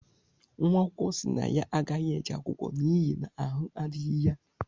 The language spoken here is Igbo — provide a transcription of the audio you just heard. nwaakwụkọ si na ya agaghi-eje akwụkwọ n’ihi na ahụ adighi ya